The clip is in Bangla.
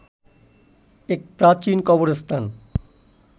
এক প্রাচীন কবরস্থান